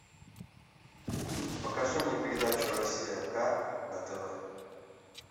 покажи мне передачу россия ка на тв